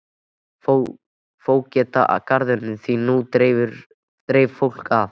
Fógeta garðinum því nú dreif fólk að.